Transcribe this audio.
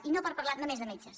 i no per parlar només de metges